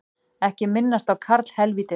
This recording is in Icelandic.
Ekki minnast á karlhelvítið